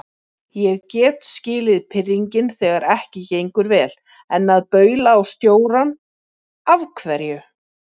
Ég get skilið pirringinn þegar ekki gengur vel, en að baula á stjórann. af hverju?